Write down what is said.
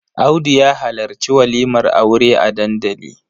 Audu ya halarci walimar aure a dandali.